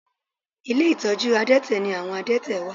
Ilé ìtọ́jú àdẹ́tẹ̀ ni àwọn àdẹ́tẹ̀ wà